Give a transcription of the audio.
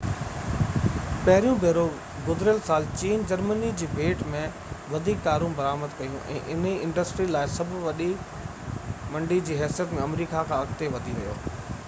پهريون ڀيرو گذريل سال چين جرمني جي ڀيٽ ۾ وڌيڪ ڪارون برآمد ڪيون ۽ اِنهي انڊسٽري لاءِ سڀ وڏي منڊي جي حيثيت ۾ آمريڪا کان اڳتي وڌي ويو